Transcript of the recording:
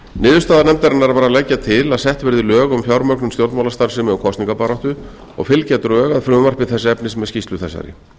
niðurstaða nefndarinnar var að leggja til að sett verði lög um fjármögnun stjórnmálastarfsemi og kosningabaráttu og fylgja drög að frumvarpi þess efnis með skýrslu þessari